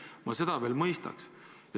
Siis ma seda mõistaks.